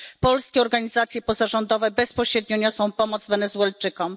Polskie organizacje pozarządowe bezpośrednio niosą pomoc Wenezuelczykom.